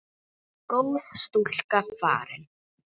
Nú er góð stúlka farin.